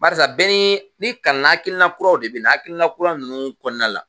Barisa bɛɛ n'i kalanna hakilina kuraw de bɛ na, hakilina kura ninnu kɔnɔna la